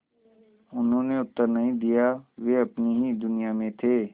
उन्होंने उत्तर नहीं दिया वे अपनी ही दुनिया में थे